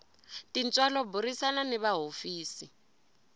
tintswalo burisana ni va hofisi